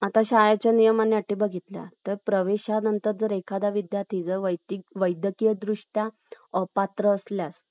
आणि governor general जो होता. त्यासाठी दिली होती. यानंतर, मार्गदर्शक तत्वे न्यायप्रविष्ट नाही. आपण न्यायप्रविष्ट या शब्दाचा अर्थ बघितला होता. कि आपल्या एखाद्या या तत्वांच उलंघन झालं.